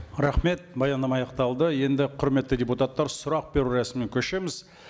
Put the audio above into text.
рахмет баяндама аяқталды енді құрметті депутаттар сұрақ беру рәсіміне көшеміз